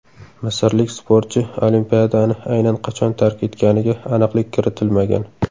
Misrlik sportchi Olimpiadani aynan qachon tark etganiga aniqlik kiritilmagan.